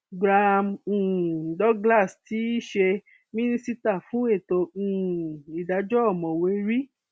graham um douglas tí í ṣe mínísítà fún ètò um ìdájọ ọmọwé r